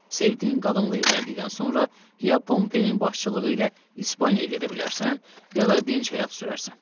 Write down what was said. Sevdiyin qadınla evləndikdən sonra ya Pompeyin başçılığı ilə İspaniyaya gedə bilərsən, ya da dinc həyat sürərsən.